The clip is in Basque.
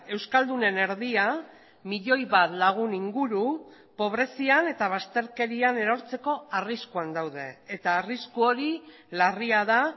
euskaldunen erdia milioi bat lagun inguru pobrezian eta bazterkerian erortzeko arriskuan daude eta arrisku hori larria da